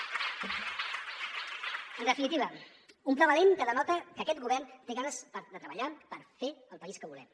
en definitiva un pla valent que denota que aquest govern té ganes de treballar per fer el país que volem